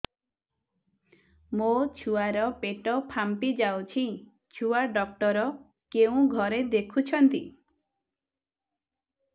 ମୋ ଛୁଆ ର ପେଟ ଫାମ୍ପି ଯାଉଛି ଛୁଆ ଡକ୍ଟର କେଉଁ ଘରେ ଦେଖୁ ଛନ୍ତି